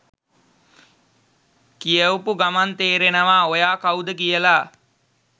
කියවපු ගමන් තේරෙනවා ඔයා කවුද කියලා.